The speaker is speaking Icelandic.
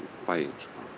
bæinn